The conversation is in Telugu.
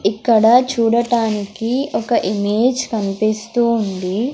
ఇక్కడ చూడటానికి ఒక ఇమేజ్ కన్పిస్తూ ఉంది.